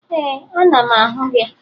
Ee, ana m ahụ gị